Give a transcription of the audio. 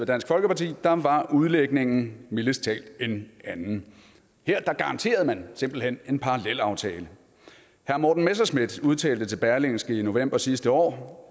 dansk folkeparti var udlægningen mildest talt en anden her garanterede man simpelt hen en parallelaftale herre morten messerschmidt udtalte til berlingske i november sidste år